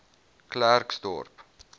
klerksdorp